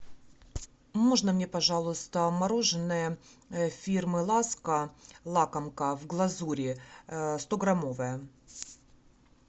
можно мне пожалуйста мороженое фирмы ласка лакомка в глазури стограммовое